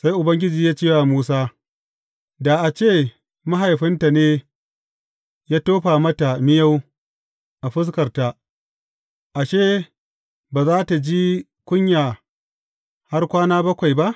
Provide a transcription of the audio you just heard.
Sai Ubangiji ya ce wa Musa, Da a ce mahaifinta ne ya tofa mata miyau a fuskarta, ashe, ba za tă ji kunya har kwana bakwai ba?